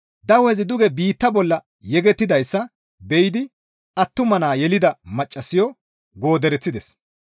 Dawezi duge biitta bolla yegettidayssa be7idi attuma naa yelida maccassayo goodereththides.